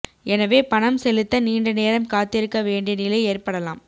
எனவே பணம் செலுத்த நீண்ட நேரம் காத்திருக்க வேண்டிய நிலை ஏற்படலாம்